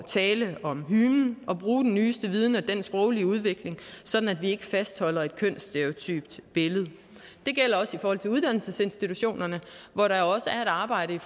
tale om hymen og bruge den nyeste viden og den sproglige udvikling sådan at vi ikke fastholder et kønsstereotypt billede det gælder også i forhold til uddannelsesinstitutionerne hvor der er et arbejde